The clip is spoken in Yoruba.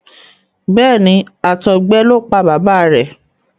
Béèni àtọgbẹ ló pá bàbá rẹ.